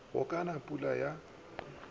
go ka na pula ya